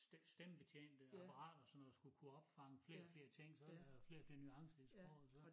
Stemmebetjente apparater og sådan noget skal kunne opfange flere og flere ting så det øh flere og flere nuancer i sproget så